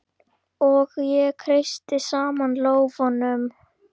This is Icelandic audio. Og ég kreisti saman lófana.